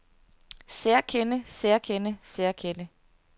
særkende særkende særkende